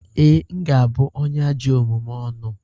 Ee, m ga-abụ onye ajọ omume ọnụ.